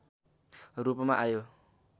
रूपमा आयो